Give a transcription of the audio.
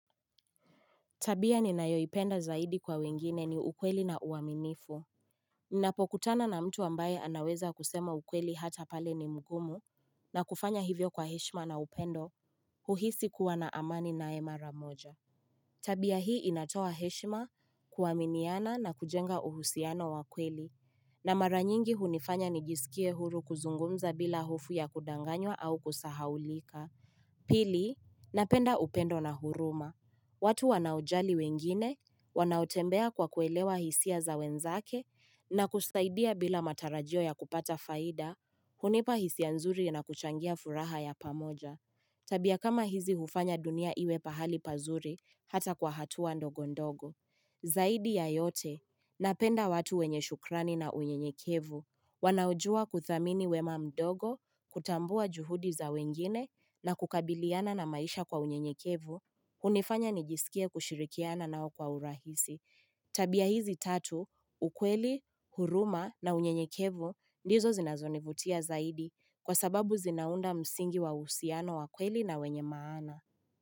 Tabia ni nayoipenda zaidi kwa wengine ni ukweli na uaminifu Nnapokutana na mtu ambaye anaweza kusema ukweli hata pale ni mgumu na kufanya hivyo kwa heshima na upendo uhisi kuwa na amani nae mara moja Tabia hii inatoa heshima kuaminiana na kujenga uhusiano wakweli na mara nyingi hunifanya nijisikie huru kuzungumza bila hufo ya kudanganywa au kusahaulika Pili napenda upendo na huruma watu wanaojali wengine, wanaotembea kwa kuelewa hisia za wenzake na kusaidia bila matarajio ya kupata faida, hunipa hisia nzuri na kuchangia furaha ya pamoja. Tabia kama hizi hufanya dunia iwe pahali pazuri hata kwa hatua ndogondogo. Zaidi ya yote, napenda watu wenye shukrani na unye nyekevu, wanaojua kuthamini wema mdogo, kutambua juhudi za wengine na kukabiliana na maisha kwa unye nyekevu, hunifanya nijisikie kushirikiana nao kwa urahisi Tabia hizi tatu, ukweli, huruma na unyenyekevu ndizo zinazonivutia zaidi kwa sababu zinaunda msingi wa husiano wakweli na wenye maana.